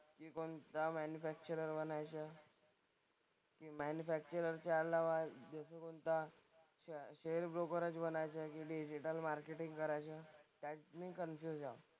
की कोणता मॅन्युफॅक्चरर बनायचं. की मॅन्युफॅक्चररच्या अलावा शेअर ब्रोकरच बनायचंय की डिजिटल मार्केटिंग करायचंय. त्यात मी कन्फ्युज आहे.